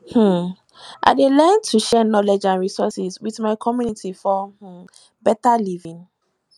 um i dey learn to share knowledge and resources with my community for um better living